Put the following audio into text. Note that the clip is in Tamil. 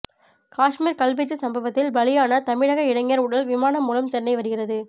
காஷ்மீர் கல்வீச்சு சம்பவத்தில் பலியான தமிழக இளைஞர் உடல் விமானம் மூலம் சென்னை வருகிறது